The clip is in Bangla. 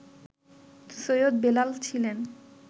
সৈয়দ বেলাল ছিলেন